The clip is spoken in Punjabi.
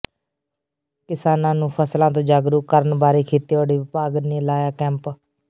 ਕਿਸਾਨਾਂ ਨੂੰ ਫਸਲਾਂ ਤੋਂ ਜਾਗਰੂਕ ਕਰਨ ਬਾਰੇ ਖੇਤੀਬਾੜੀ ਵਿਭਾਗ ਨੇ ਲਾਇਆ ਕੈਂਪ